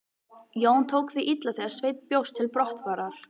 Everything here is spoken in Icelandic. Jón tók því illa þegar Sveinn bjóst til brottfarar.